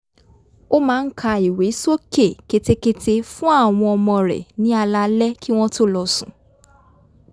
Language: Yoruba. ó máa ń ka ìwé sókè ketekete fún àwọn ọmọ rẹ̀ ní alaalẹ́ kí wọ́n tó lọ sùn